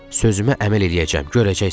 Sözümə əməl eləyəcəm, görəcəksən.